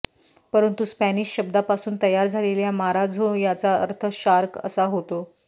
परंतु स्पॅनिश शब्दापासून तयार झालेल्या माराझो याचा अर्थ शार्क असा होतो